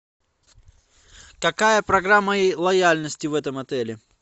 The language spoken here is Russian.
какая программа лояльности в этом отеле